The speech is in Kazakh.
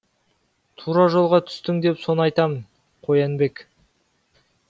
тура жолға түстің деп соны айтамын қоянбек